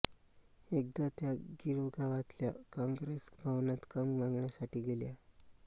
एकदा त्या गिरगावातल्या काँग्रेस भवनात काम मागण्यासाठी गेल्या